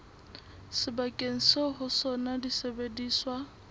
sebakeng seo ho sona disebediswa